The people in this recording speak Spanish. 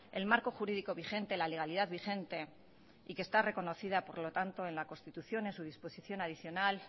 el marco jurídico vigente la legalidad vigente y que está reconocida por lo tanto en la constitución en su disposición adicional